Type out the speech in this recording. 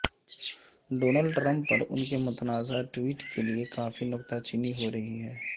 Donald Trump پر ان کی متنازع ٹویٹ کے لیے کافی نکتہ چینی ہورہی ہے